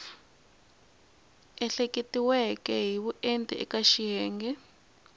ehleketiweke hi vuenti eka xiyenge